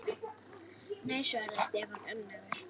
Nei svaraði Stefán önugur.